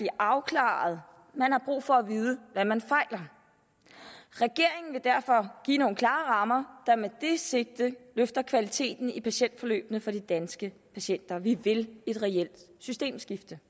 afklaret man har brug for at vide hvad man fejler regeringen vil derfor give nogle klare rammer der med det sigte løfter kvaliteten i patientforløbene for de danske patienter vi vil et reelt systemskifte